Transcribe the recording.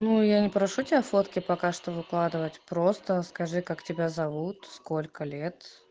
ну я не прошу тебя фотки пока что выкладывать просто скажи как тебя зовут сколько лет